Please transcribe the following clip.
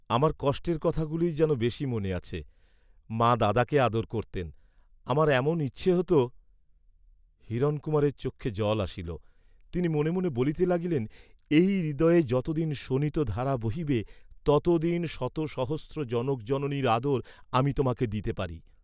"আমার কষ্টের কথাগুলিই যেন বেশি মনে আছে। মা দাদাকে আদর করতেন, আমার এমন ইচ্ছে হত।" হিরণকুমারের চক্ষে জল আসিল। তিনি মনে মনে বলিতে লাগিলেন, "এই হৃদয়ে যতদিন শোণিতধারা বহিবে ততদিন শত সহস্র জনক জননীর আদর আমি তোমাকে দিতে পারি।"